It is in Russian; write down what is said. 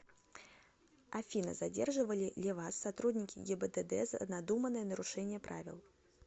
афина задерживали ли вас сотрудники гибдд за надуманное нарушение правил